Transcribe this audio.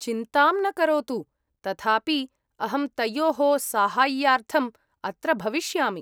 चिन्तां न करोतु तथापि अहं तयोः साहाय्यार्थम् अत्र भविष्यामि।